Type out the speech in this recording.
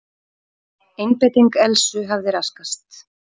Einbeiting Elsu hafði raskast.